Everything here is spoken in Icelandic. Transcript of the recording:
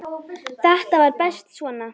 Þetta var best svona.